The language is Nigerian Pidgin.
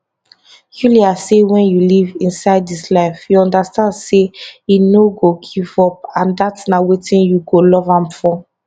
yulia say wen you live inside dis life you understand say e no go give up and dat na wetin you go love am for